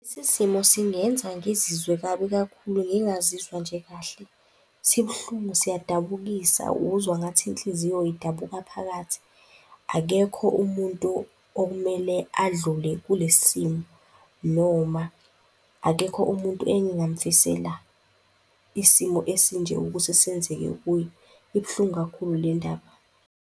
Lesi simo singenza ngizizwe kabi kakhulu, ngingazizwa nje kahle, sibuhlungu, siyadabukisa, uzwa ngathi inhliziyo idabuka phakathi. Akekho umuntu okumele adlule kulesi simo noma akekho umuntu engingamfisela isimo esinje ukuthi senzeke kuye. Ibuhlungu kakhulu le ndaba.